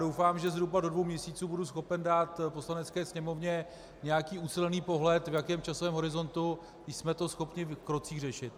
Doufám, že zhruba do dvou měsíců budu schopen dát Poslanecké sněmovně nějaký ucelený pohled, v jakém časovém horizontu jsme to schopni v krocích řešit.